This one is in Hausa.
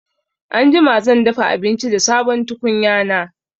Anjima zan dafa abinci da sabon tukunya na